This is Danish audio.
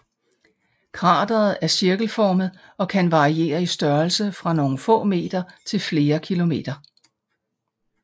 Krateret er cirkelformet og kan variere i størrelse fra nogle få meter til flere kilometer